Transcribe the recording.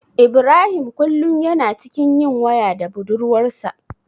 Ibrahim kullum yana cikin yin waya da budurwarsa.